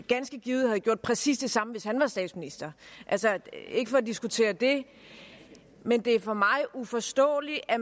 ganske givet havde gjort præcis det samme hvis han var statsminister ikke for at diskutere det men det er for mig uforståeligt at